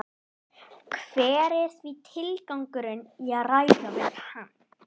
Hver er því tilgangurinn í að ræða við hann?